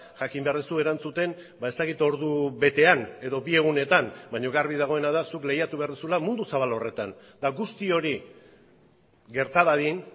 jakin behar duzu erantzuten ez dakit ordu betean edo bi egunetan baina garbi dagoena da zuk lehiatu behar duzula mundu zabal horretan eta guzti hori gerta dadin